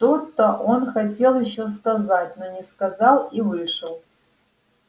что-то он хотел ещё сказать но не сказал и вышел